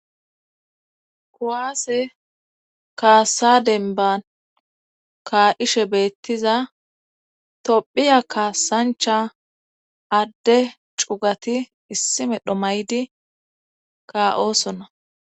kuwaase kaasa denban kaa'ishe beettiza tophiya kaasancha adde cugati issi medho maydi ka'oosona